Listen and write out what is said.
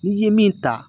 N'i ye min ta